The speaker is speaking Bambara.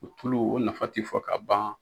O tulu o nafa ti fɔ ka ban